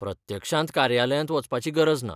प्रत्यक्षांत कार्यालयांत वचपाची गरज ना.